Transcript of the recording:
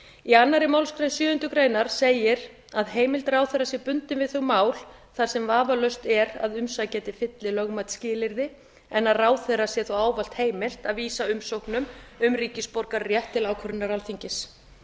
í annarri málsgrein sjöundu grein segir að heimild ráðherra sé bundin við þau mál þar sem vafalaust er að umsækjandi uppfylli lögmælt skilyrði en að ráðherra sé þó ávallt heimilt að vísa umsóknum um ríkisborgararétt til ákvörðunar alþingis